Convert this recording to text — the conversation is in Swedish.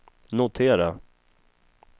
notera